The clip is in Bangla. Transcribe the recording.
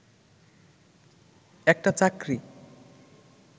একটা চাকরি